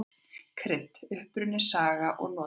Krydd: Uppruni, saga og notkun.